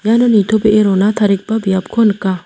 iano nitobee rona tarigipa biapko nika.